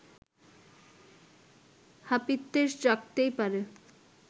হাপিত্যেশ জাগতেই পারে